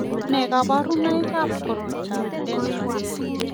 Nee kabarunoikab koroitoab Dent 1?